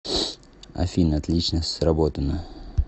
афина отлично сработано